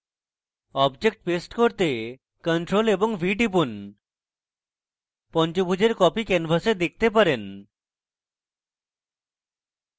এখন object paste করতে ctrl + v টিপুন আপনি পঞ্চভূজের copy canvas দেখতে পারেন